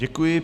Děkuji.